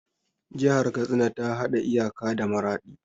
Jihar Katsina ta haɗa iyaka da Maraɗi.